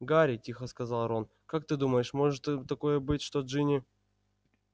гарри тихо сказал рон как ты думаешь может такое быть что джинни